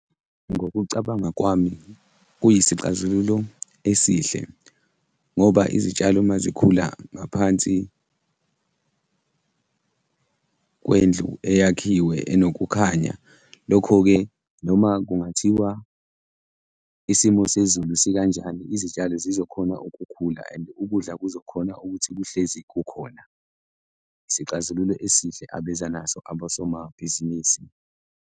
Ngokucabanga kwami, kuyisixazululo esihle ngoba izitshalo uma zikhula ngaphansi kwendlu eyakhiwe enokukhanya, lokho-ke noma kungathiwa isimo sezulu sikanjani, izitshalo zizokhona ukukhula and ukudla kuzokhona ukuthi buhlezi kukhona. Isixazululo esihle abeza naso abosomabhizinisi.